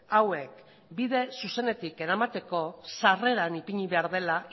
hauek bide zuzenetik eramateko sarreran ipini behar dela